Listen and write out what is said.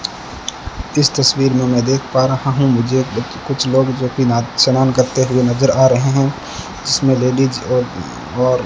इस तस्वीर में मैं देख पा रहा हूं मुझे कुछ लोग जोकि ना स्नान करते हुए नजर आ रहे है जीसमें लेडिस और और --